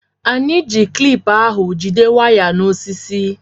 Anyị ji klip ahụ jide waya na osisi